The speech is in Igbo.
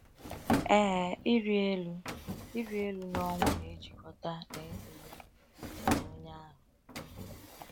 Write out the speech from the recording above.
Ee, ịrị elu ịrị elu n’ọnwụ na-ejikọta n’ịdị ndụ nke onye ahụ.